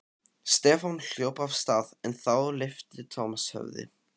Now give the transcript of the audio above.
Stefán hljóp af stað en þá lyfti Thomas höfði.